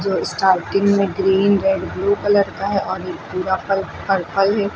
और स्टार्टिंग में green red blue colour का है और ये पूरा पर पर्पल है।